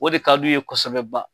O de ka d'u ye kosɛbɛba.